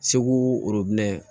Segu orobinɛ